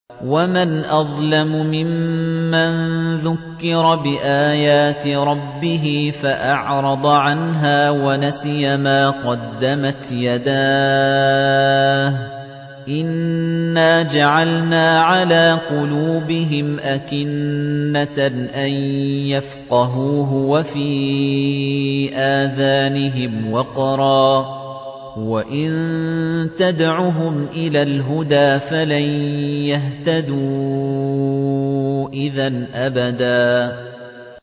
وَمَنْ أَظْلَمُ مِمَّن ذُكِّرَ بِآيَاتِ رَبِّهِ فَأَعْرَضَ عَنْهَا وَنَسِيَ مَا قَدَّمَتْ يَدَاهُ ۚ إِنَّا جَعَلْنَا عَلَىٰ قُلُوبِهِمْ أَكِنَّةً أَن يَفْقَهُوهُ وَفِي آذَانِهِمْ وَقْرًا ۖ وَإِن تَدْعُهُمْ إِلَى الْهُدَىٰ فَلَن يَهْتَدُوا إِذًا أَبَدًا